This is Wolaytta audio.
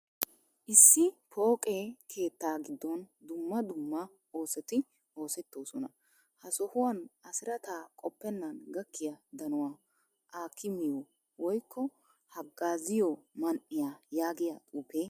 Issi pooqe keettaaa giddon dumma dumma oosoti oosettoosona. Ha sohuwan Asirata qoppennan gakkiya danuwa akkamiyo woykko haggaaziyo man"iya yaagiya xuufe de'ees.